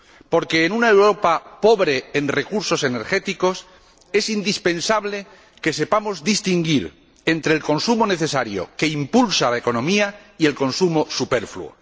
Porque, en una Europa pobre en recursos energéticos, es indispensable que sepamos distinguir entre el consumo necesario que impulsa la economía y el consumo superfluo.